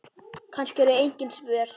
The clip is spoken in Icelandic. Kannski eru engin svör.